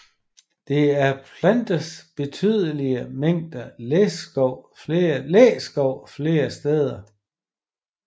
Der er plantet betydelige mængder læskov flere steder